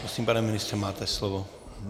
Prosím, pane ministře, máte slovo.